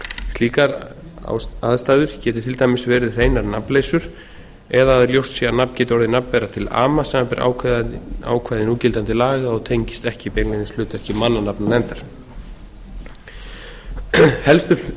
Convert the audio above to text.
slíkar aðstæður geti til dæmis verið hreinar nafnleysur eða að ljóst sé að nafn geti orðið nafnbera til ama samanber ákvæði núgildandi laga og tengist ekki beinlínis hlutverki mannanafnanefndar helstu